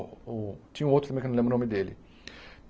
Tinha um outro também, que eu não me lembro o nome dele.